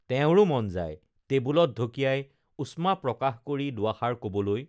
তেওঁৰো মন যায় টেবুলত ঢকিয়াই উষ্মা প্ৰকাশ কৰি দুআষাৰ কবলৈ